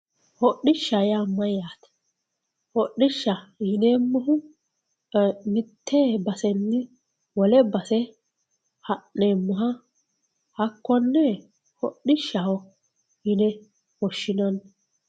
hodhishsha yaa mayyate? hodishsha yinaneemmohu mite basenni wole base ha'neemmoha hakkonne hodhishshaho yine woshshinanni